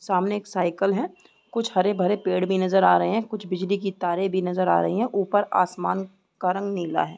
सामने एक साइकिल है कुछ हरे-भरे पेड़ भी नजर आ रहे हैं कुछ बिजली की तारें भी नजर आ रही है ऊपर आसमान का रंग नीला है।